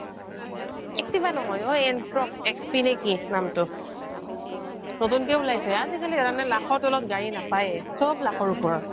Activa নহয় অ Ntorq XT না কি নামটো নতুনকৈ ওলাইছে আজিকালি জানানে লাখৰ তলত গাড়ী নাপায়ে চব লাখৰ ওপৰত